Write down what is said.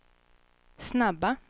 snabba